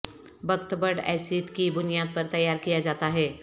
بکت بڈ ایسڈ کی بنیاد پر تیار کیا جاتا ہے